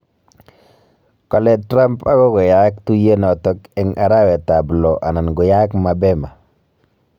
Kale Trump agoi koyaak tuyenoto eng arawetab lo ana koyaak mabema